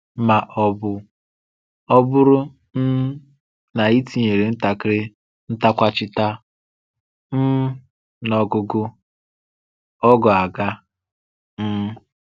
Ma ọ bụ, ọ bụrụ um na i tinyèrè ntàkịrị́-ntàkwàchìtà um n’ọ́gụ̀gụ̀, ọ̀ ghọ́ agha. um